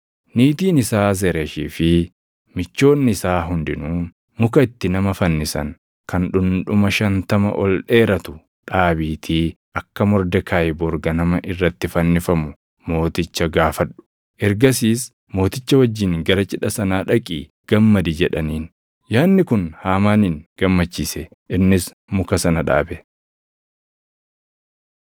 Niitiin isaa Zeresh fi michoonni isaa hundinuu, “Muka itti nama fannisan kan dhundhuma shantama ol dheeratu dhaabiitii akka Mordekaayi bor ganama irratti fannifamu mooticha gaafadhu. Ergasiis mooticha wajjin gara cidha sanaa dhaqii gammadi” jedhaniin. Yaadni kun Haamaanin gammachiise; innis muka sana dhaabe.